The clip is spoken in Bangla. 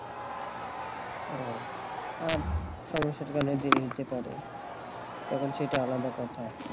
আর সমস্যাটা তো অনেক দেরি হইতে পারে তখন সেইটা আলাদা কথা